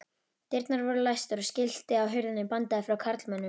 Dyrnar voru læstar og skilti á hurðinni bandaði frá karlmönnum.